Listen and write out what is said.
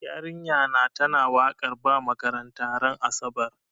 Yarinya na ta na wakar ba makaranta ran asabar